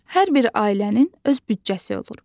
Hər bir ailənin öz büdcəsi olur.